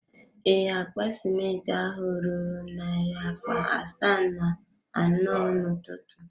Ee, akpa simenti ahụ ruru narị akpa asaa na anọ n’ụtụtụ.